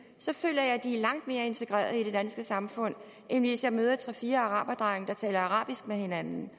så føler jeg de er langt mere integreret i det danske samfund end hvis jeg møder tre fire araberdrenge der taler arabisk med hinanden